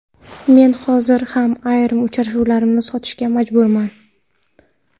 Men hozir ham ayrim uchrashuvlarimni sotishga majburman.